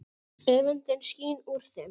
Öfundin skín úr þeim.